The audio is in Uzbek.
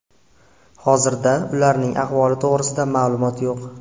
Hozirda ularning ahvoli to‘g‘risida ma’lumot yo‘q.